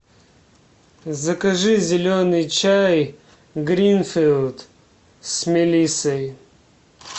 закажи зеленый чай гринфилд с мелиссой